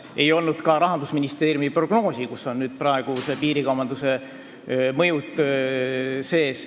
Siis ei olnud veel ka Rahandusministeeriumi prognoosi, kus on nüüd piirikaubanduse mõjud sees.